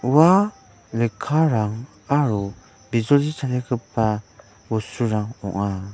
ua lekkarang aro bijoli bosturang ong·a.